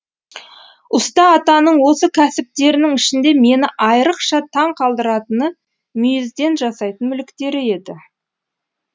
ұста атаның осы кәсіптерінің ішінде мені айрықша таң қалдыратыны мүйізден жасайтын мүліктері еді